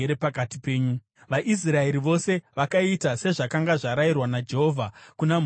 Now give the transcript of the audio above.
VaIsraeri vose vakaita sezvakanga zvarayirwa naJehovha kuna Mozisi naAroni.